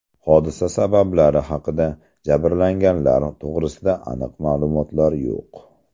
Hodisa sabablari haqida, jabrlanganlar to‘g‘risida aniq ma’lumotlar yo‘q.